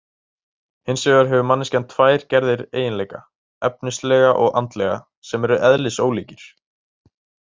Hins vegar hefur manneskjan tvær gerðir eiginleika, efnislega og andlega, sem eru eðlisólíkir.